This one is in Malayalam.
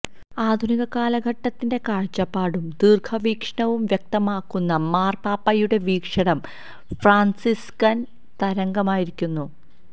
ആധുനിക കാലഘട്ടത്തിന്റെ കാഴ്ചപ്പാടും ദീര്ഘവീക്ഷണവും വ്യക്തമാക്കുന്ന മാര്പാപ്പായുടെ വീക്ഷണം ഫ്രാന്സിസ്കന് തരംഗമായിരിക്കുന്നു